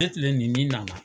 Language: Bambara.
Ne tilen ni nin nana